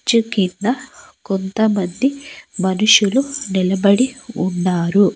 కింద కొంత మంది మనుషులు నిలబడి ఉన్నారు.